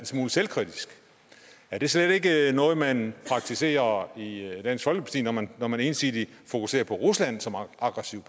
smule selvkritisk er det slet ikke noget man praktiserer i dansk folkeparti når man når man ensidigt fokuserer på rusland som aggressiv